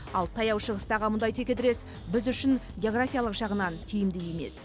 ал таяу шығыстағы мұндай текетірес біз үшін географиялық жағынан тиімді емес